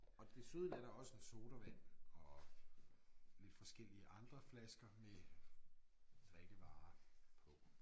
Og desuden er der også en sodavand og lidt forskellige andre flasker med drikkevarer på